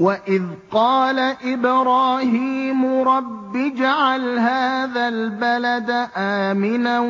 وَإِذْ قَالَ إِبْرَاهِيمُ رَبِّ اجْعَلْ هَٰذَا الْبَلَدَ آمِنًا